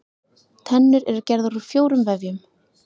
Tennur eru gerðar úr fjórum vefjum.